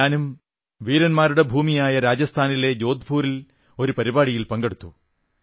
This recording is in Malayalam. ഞാനും വീരന്മാരുടെ ഭൂമിയായ രാജസ്ഥാനിലെ ജോധ്പൂരിൽ ഒരു പരിപാടിയിൽ പങ്കെടുത്തു